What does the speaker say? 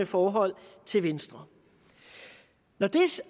forhold til venstre når det